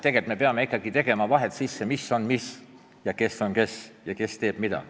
Tegelikult me peame ikkagi tegema vahed sisse, mis on mis, kes on kes ja kes teeb mida.